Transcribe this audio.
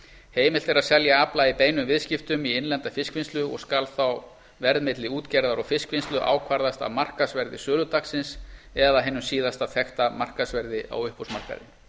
heimilt er að selja afla í beinum viðskiptum í innlenda fiskvinnslu og skal þá verð milli útgerðar og fiskvinnslu ákvarðast af markaðsverði söludagsins eða síðasta þekkta markaðsverði á uppboðsmarkaði